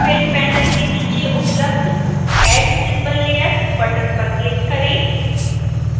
fill panel के नीचे उपलब्ध add symbol layer बटन पर क्लिक करें